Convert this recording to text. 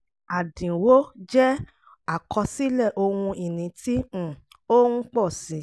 àdínwó jẹ́ àkọsílẹ̀ ohun ìní tí um ó ń pọ̀ sí i